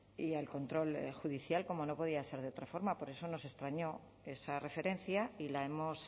y al control judicial como no podía ser de otra forma por eso nos extrañó esa referencia y la hemos